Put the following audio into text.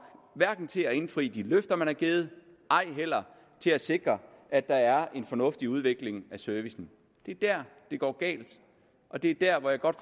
hverken til at indfri de løfter man har givet eller til at sikre at der er en fornuftig udvikling af servicen det er der det går galt og det er der hvor jeg godt